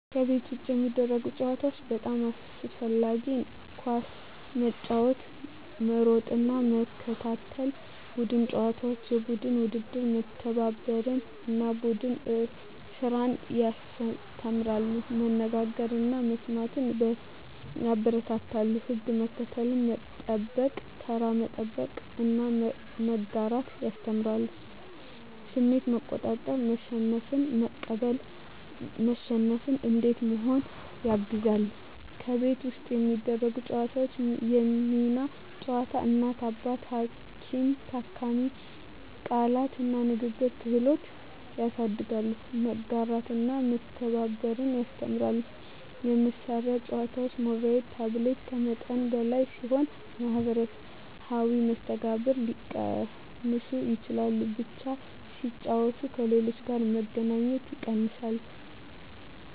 ከቤት ውጭ የሚደረጉ ጨዋታዎች (በጣም አስፈላጊ) ኳስ መጫወት መሮጥና መከታተል ቡድን ጨዋታዎች (የቡድን ውድድር) መተባበርን እና ቡድን ስራን ያስተምራሉ መነጋገርን እና መስማትን ያበረታታሉ ሕግ መከተል፣ መጠበቅ (ተራ መጠበቅ) እና መጋራት ያስተምራሉ ስሜት መቆጣጠር (መሸነፍን መቀበል፣ መሸነፍ እንዴት መሆኑን) ያግዛሉ ከቤት ውስጥ የሚደረጉ ጨዋታዎች የሚና ጨዋታ (እናት–አባት፣ ሐኪም–ታካሚ) ቃላት እና ንግግር ክህሎት ያሳድጋሉ መጋራትና መተባበር ያስተምራሉ የመሳሪያ ጨዋታዎች (ሞባይል/ታብሌት) ከመጠን በላይ ሲሆኑ የማኅበራዊ መስተጋብርን ሊቀንሱ ይችላሉ በብቻ ሲጫወቱ ከሌሎች ጋር መገናኘት ይቀንሳል